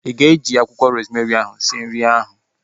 Ị ga-eji akwụkwọ rozmerị ahu sie nri ahu?